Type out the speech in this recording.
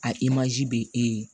A im' be e ye